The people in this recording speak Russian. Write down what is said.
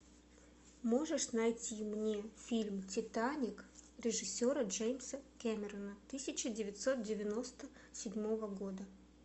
можешь найти мне фильм титаник режиссера джеймса кэмерона тысяча девятьсот девяносто седьмого года